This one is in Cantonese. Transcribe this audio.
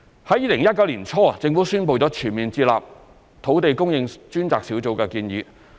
在2019年年初，政府宣布全面接納土地供應專責小組的建議。